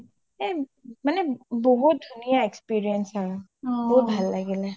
এ মানে বহুত ধুনীয়া experience হয় অ বহুত ভাল লাগিলে